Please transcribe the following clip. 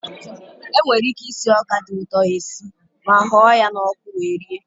E nwere ike isi ọka dị ụtọ esi ma ọ hụọ ya n'ọkụ wee rie.